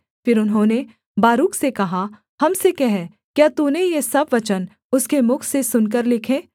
फिर उन्होंने बारूक से कहा हम से कह क्या तूने ये सब वचन उसके मुख से सुनकर लिखे